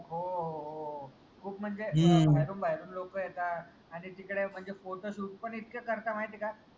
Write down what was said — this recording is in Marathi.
हो हो हो हो खूप म्हनजे बाहेरून बाहेरून लोक येतात आनि तिकडे म्हनजे Photoshoot पन इतके करता माहितीय का?